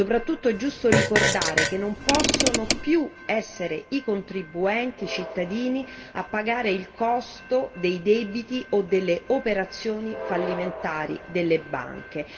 Soprattutto è giusto ricordare che non possono più essere i contribuenti, i cittadini a pagare il costo dei debiti o delle operazioni fallimentari delle banche.